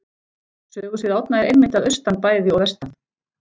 Sögusvið Árna er einmitt að austan bæði og vestan